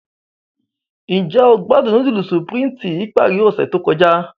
Njẹ o gbadun nudulu Supreme ti ipari ose to kọja?